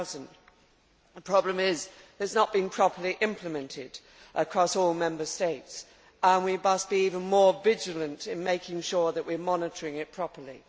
2000. The problem is that it is not being properly implemented across all Member States and we must be even more vigilant in making sure that we are monitoring it properly.